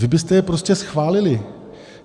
Vy byste je prostě schválili!